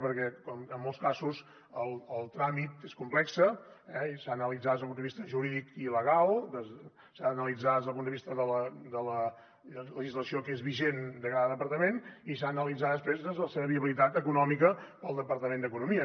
perquè en molts casos el tràmit és complex i s’ha d’analitzar des del punt de vista jurídic i legal s’ha d’analitzar des del punt de vista de la legislació que és vigent per a cada departament i s’ha analitzar després la seva viabilitat econòmica pel departament d’economia